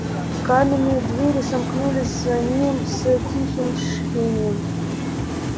каменные двери сомкнулись за ними с тихим шипением